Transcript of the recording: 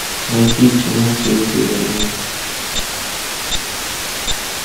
найти кино цветы войны